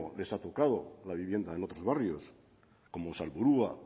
les ha tocado la vivienda en otros barrios como salburua